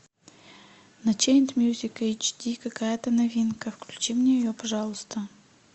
на чейн мьюзик эйч ди какая то новинка включи мне ее пожалуйста